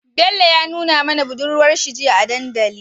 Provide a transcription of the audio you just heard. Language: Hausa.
Bello ya nuna mana budurwar shi jiya a dandali